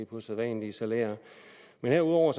på sædvanlige salærer men herudover